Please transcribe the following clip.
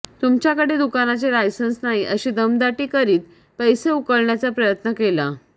तुमच्याकडे दुकानाचे लायसन्स नाही अशी दमदाटी करीत पैसे उकळण्याचा प्रयत्न केला